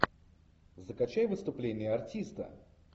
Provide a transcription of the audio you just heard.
закачай выступление артиста